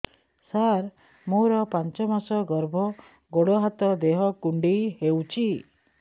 ସାର ମୋର ପାଞ୍ଚ ମାସ ଗର୍ଭ ଗୋଡ ହାତ ଦେହ କୁଣ୍ଡେଇ ହେଉଛି